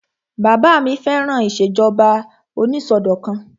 Bàbá mi fẹ́ràn ìṣèjọba onísọdọ̀kan